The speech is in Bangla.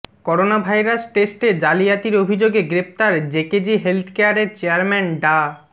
করোনাভাইরাস টেস্টে জালিয়াতির অভিযোগে গ্রেপ্তার জেকেজি হেলথকেয়ারের চেয়ারম্যান ডা